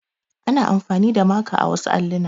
Ana amfani da maka a wasu alluna.